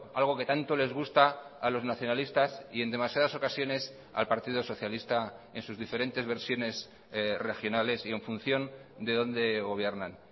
algo que tanto les gusta a los nacionalistas y en demasiadas ocasiones al partido socialista en sus diferentes versiones regionales y en función de dónde gobiernan